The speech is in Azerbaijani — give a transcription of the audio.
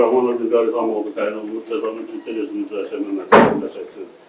Abduraxmanov İlqar İlham oğlu təyin olunmuş cəzanı ciddi rejimli cəzaçəkmə müəssisəsində çəksin.